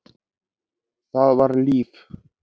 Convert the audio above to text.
Það var líf!